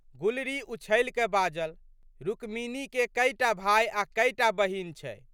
गुलरी उछलिकए बाजलि, रुक्मिनीके कए टा भाय आ कए टा बहिन छै।